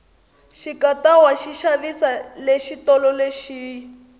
xikatawa xi xavisiwa le xitolo lexiya